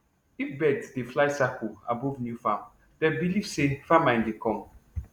if birds dey fly circle above new farm dem believe say famine dey come